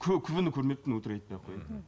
күбіні көрмеппін өтірік айтпай ақ қояйын мхм